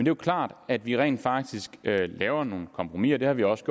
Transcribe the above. jo klart at vi rent faktisk laver nogle kompromiser det har vi også